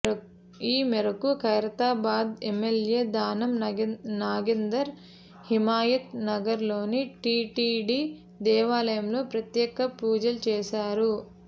ఈ మేరకు ఖైరతాబాద్ ఎమ్మెల్యే దానం నాగేందర్ హిమాయత్ నగర్ లోని టీటీడీ దేవాలయంలో ప్రత్యేక పూజలు చేశారు